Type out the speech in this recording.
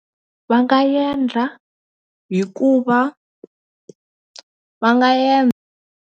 Va nga endla hikuva va nga .